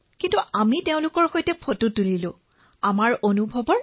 ইয়াৰোপৰি তেওঁলোকৰ সৈতে বহু ফটো উঠিলো বহু অভিজ্ঞতা বিনিময় কৰিলো